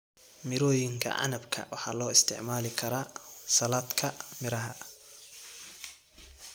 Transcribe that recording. Mirooyinka canabka waxaa loo isticmaali karaa saladhka miraha.